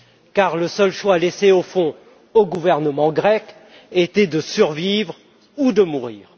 En effet, le seul choix laissé, au fond, au gouvernement grec était de survivre ou de mourir.